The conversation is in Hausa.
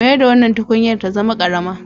Mayar da wannan tukunyar ta zama ƙarama.